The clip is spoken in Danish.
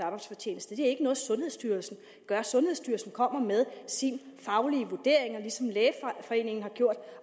arbejdsfortjeneste det er ikke noget sundhedsstyrelsen gør sundhedsstyrelsen kommer med sin faglige vurdering ligesom lægeforeningen har gjort